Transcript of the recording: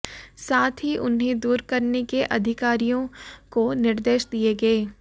साथ ही उन्हें दूर करने के अधिकारियों को निर्देश दिए गए